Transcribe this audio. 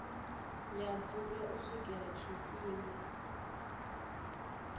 ya dzula u swikela tshifhinga